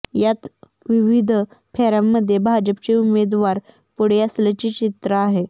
यात विविध फेऱ्यांमध्ये भाजपचे उमेदवार पुढे असल्याचे चित्र आहे